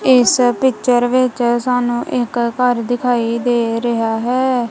ਇਸ ਪਿੱਚਰ ਵਿੱਚ ਸਾਨੂੰ ਇਕ ਘਰ ਦਿਖਾਈ ਦੇ ਰਿਹਾ ਹੈ।